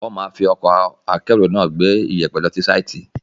Wọ́n máa fi ọkọ̀ akẹ́rù náà gbé iyẹ̀pẹ̀ lọ sí sáìtì.